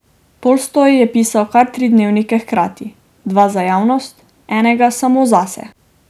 Tolstoj je pisal kar tri dnevnike hkrati, dva za javnost, enega samo zase.